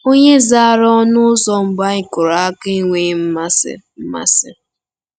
“Onye zara ọnụ ụzọ mbụ anyị kụrụ aka enweghị mmasị. mmasị.